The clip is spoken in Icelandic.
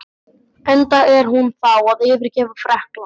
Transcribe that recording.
Enda er hún þá að yfirgefa Frakkland.